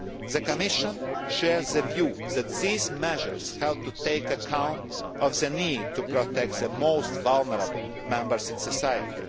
The Commission shares the view that these measures have to take account of the need to protect the most vulnerable members of